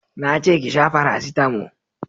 Na ce ki sha farasitamo